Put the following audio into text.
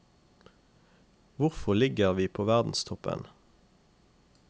Hvorfor ligger vi på verdenstoppen?